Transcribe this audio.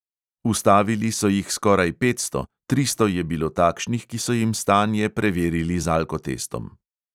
Ustavili so jih skoraj petsto, tristo je bilo takšnih, ki so jim stanje preverili z alkotestom.